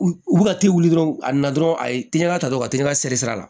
U u ka teli dɔrɔn a na dɔrɔn a ye teliya ta dɔrɔn ka teli ka sɛri a la